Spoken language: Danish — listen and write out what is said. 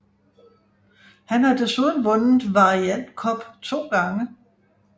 Han har desuden vundet variant cup to gange